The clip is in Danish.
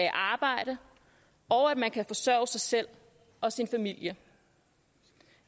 i arbejde og at man kan forsørge sig selv og sin familie